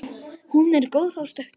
En hún er góð á stökki